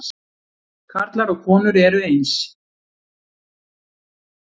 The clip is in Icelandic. Karlar og konur eru eins